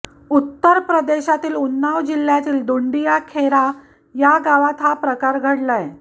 उत्तर प्रदेशातील उन्नाव जिल्ह्यातल्या दुंडिया खेरा या गावात हा प्रकार घडलाय